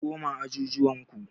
Ku koma ajujuwan ku.